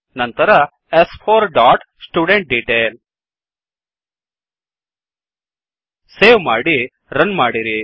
ನಂತರ ಸ್4 dot student detail save ಮಾಡಿ ರನ್ ಮಾಡಿರಿ